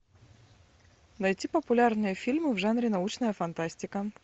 найти популярные фильмы в жанре научная фантастика